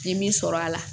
N ye min sɔrɔ a la